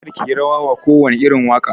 Kar kiyi rawa wa kowane irin waƙa